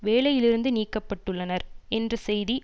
வேலையிலிருந்து நீக்க பட்டுள்ளனர் என்ற செய்தி